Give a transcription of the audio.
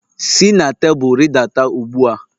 Si na tebụl rịdata ugbu a!